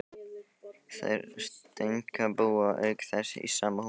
Þær Steinka búa auk þess í sama húsi.